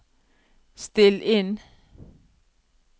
still inn